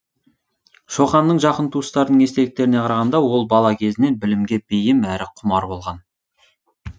шоқанның жақын туыстарының естеліктеріне қарағанда ол бала кезінен білімге бейім әрі құмар болған